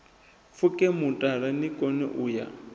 pfuke mutala nikone u ya